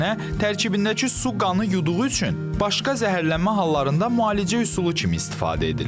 Əksinə, tərkibindəki su qanı yuduğu üçün başqa zəhərlənmə hallarında müalicə üsulu kimi istifadə edilir.